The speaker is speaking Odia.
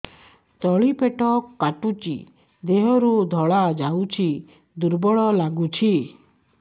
ତଳି ପେଟ କାଟୁଚି ଦେହରୁ ଧଳା ଯାଉଛି ଦୁର୍ବଳ ଲାଗୁଛି